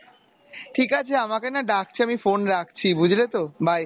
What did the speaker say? ঠিক আছে আমাকে না ডাকছে আমি phone রাখছি বুঝলেতো bye